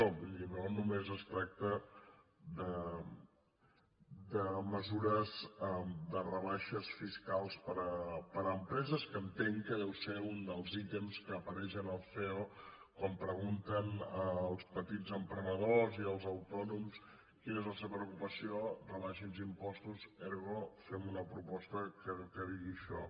vull dir no només es tracta de mesures de rebaixes fiscals per a empreses que entenc que deu ser un dels ítems que apareix en el ceo quan pregunten als petits emprenedors i els autònoms quina és la seva preocupació rebaixin els impostos ergo fem una proposta que digui això